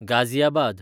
Ghaziabad